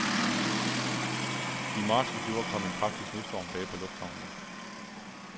I marts i fjor kom en kraftig snestorm bag på lufthavnen.